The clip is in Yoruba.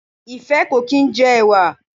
Ìfẹ́ ò kì í jẹ ẹ̀wà